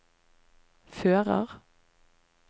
fører